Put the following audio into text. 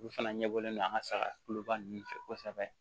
Olu fana ɲɛbɔlen don an ka saga kuloba nun fɛ kosɛbɛ